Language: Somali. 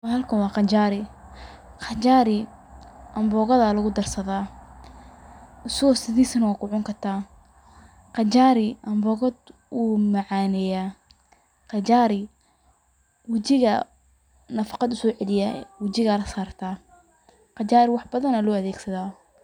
Bahalkan waa qajaari, qajaari ambogada lugu darsadaa, asago sidiis na wa kucun kartaa, qajaari ambogad wuu macaaneya, qajaari wejiga nafaqad usoo ceeliya, wejiga la saarta, qajaari wax badan aya loo adeegsada.